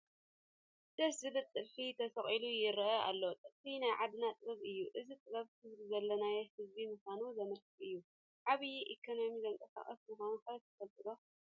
ደስ ዝብል ጥልፊ ተሰቒሉ ይርአ ኣሎ፡፡ ጥልፊ ናይ ዓድና ጥበብ እዩ፡፡ እዚ ጥበብ ክብሪ ዘለና ህዝቢ ምዃንና ዘመልክት እዩ፡፡ ዓብይ ኢኮነሚ ዘንቀሳቕስ ምዃኑ ኸ ትፈልጡ ዶ?